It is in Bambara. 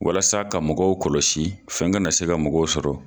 Walasa ka mɔgɔw kɔlɔsi fɛn kana se ka mɔgɔw sɔrɔ.